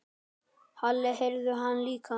Halli heyrði hana líka.